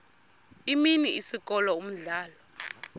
imini isikolo umdlalo